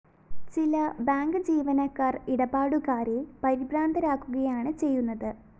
ചില ബാങ്ക്‌ ജീവനക്കാര്‍ ഇടപാടുകാരെ പരിഭ്രാന്തരാക്കുകയാണ് ചെയ്യുന്നത്